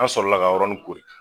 An sɔrɔ la k'a yɔrɔni koli